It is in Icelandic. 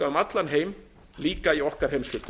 allan heim líka í okkar heimshluta